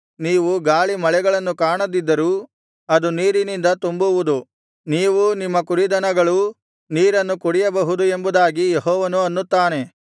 ನೀವು ಗಾಳಿ ಮಳೆಗಳನ್ನು ಕಾಣದಿದ್ದರೂ ಅದು ನೀರಿನಿಂದ ತುಂಬುವುದು ನೀವೂ ನಿಮ್ಮ ಕುರಿದನಗಳೂ ನೀರನ್ನು ಕುಡಿಯಬಹುದು ಎಂಬುದಾಗಿ ಯೆಹೋವನು ಅನ್ನುತ್ತಾನೆ